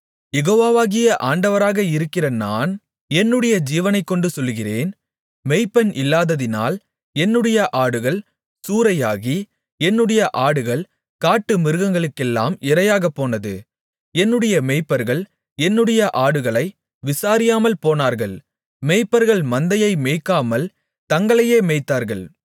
யெகோவாகிய ஆண்டவராக இருக்கிற நான் என்னுடைய ஜீவனைக்கொண்டு சொல்லுகிறேன் மேய்ப்பன் இல்லாததினால் என்னுடைய ஆடுகள் சூறையாகி என்னுடைய ஆடுகள் காட்டுமிருகங்களுக்கெல்லாம் இரையாகப் போனது என்னுடைய மேய்ப்பர்கள் என்னுடைய ஆடுகளை விசாரியாமல்போனார்கள் மேய்ப்பர்கள் மந்தையை மேய்க்காமல் தங்களையே மேய்த்தார்கள்